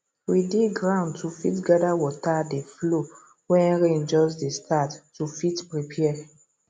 we dig ground to fit gather water dey flow wen rain just dey start to fit prepare